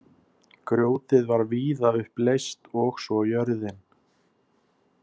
Grjótið var víða upp leyst og svo jörðin.